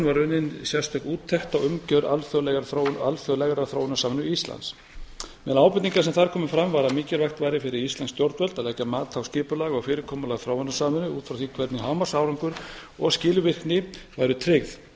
var unnin sérstök úttekt á umgjörð alþjóðlegrar þróunarsamvinnu íslands meðal ábendinga sem þar komu fram var að mikilvægt væri fyrir íslensk stjórnvöld að leggja mat á skipulag og fyrirkomulag þróunarsamvinnu út frá því hvernig hámarksárangur og skilvirkni væru tryggð